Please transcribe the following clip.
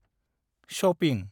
Shopping.